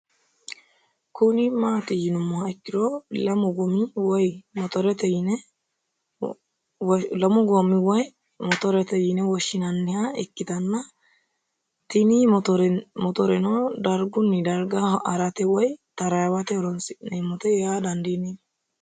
Kuni mati yiinumha ikiro lamu goomi woyi motoret yine woshinaniha ikita tin motorenodarigun darga harate woyi tarawote horonsine'mote yaa dandinemo